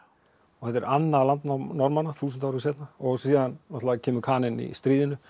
þetta er annað landnám Norðmanna þúsund árum seinna síðan náttúrulega kemur Kaninn í stríðinu